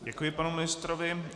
Děkuji panu ministrovi.